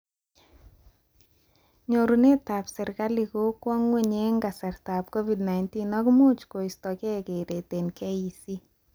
Nyorunetab serikali kokwo ngwony eng kasartaab Covid-19 ak much koistokee keret eng KEC